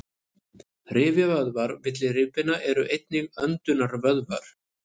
rifjavöðvar milli rifbeina eru einnig öndunarvöðvar